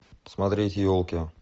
смотреть елки